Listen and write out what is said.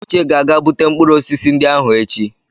Uche ga-aga bute mkpụrụ osisi ndị ahụ echi.